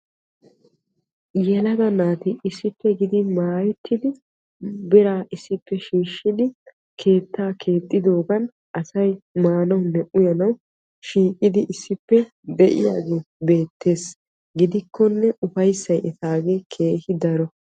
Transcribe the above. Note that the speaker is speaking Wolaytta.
yelaga naati issippe gididi maayettidi biraa issippe shiiqidi keettaa keexxidoogan asay maanawunne uyyanawu shiiqidi issippe de'iyaagee beetees. gidikkonne bufayssay etaagee keehi daro.